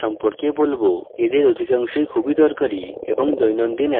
এদের অধিকাংশই খুব দরকারী এবং দৈনন্দিন অ্যাপ্লিকেশনের জন্য প্রযোজ্য